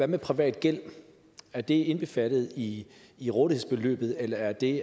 med privat gæld er det indbefattet i i rådighedsbeløbet eller er det